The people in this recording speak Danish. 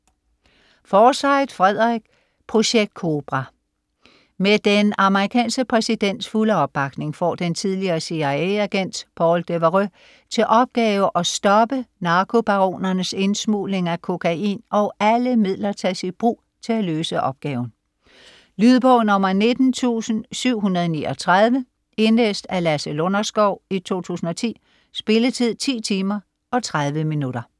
Forsyth, Frederick: Projekt Cobra Med den amerikanske præsidents fulde opbakning får den tidligere CIA-agent Paul Devereaux til opgave at stoppe narkobaronernes indsmugling af kokain, og alle midler tages i brug til at løse opgaven. Lydbog 19739 Indlæst af Lasse Lunderskov, 2010. Spilletid: 10 timer, 30 minutter.